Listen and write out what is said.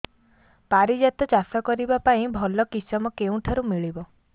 ପାରିଜାତ ଚାଷ କରିବା ପାଇଁ ଭଲ କିଶମ କେଉଁଠାରୁ ମିଳିବ